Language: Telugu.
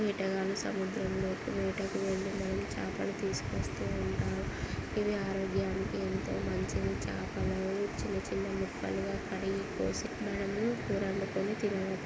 వేటగాళ్ళు సముద్రం లోకి వేటకు వెళ్లి మనకి చాపలు తీసుకొస్తూ ఉంటారు ఇవి ఆరోగ్యానికి ఎంతో మంచిది. చాపలను చిన్న చిన్న ముక్కలుగా కడిగి కోసి మనము కూర వండుకుని తిన--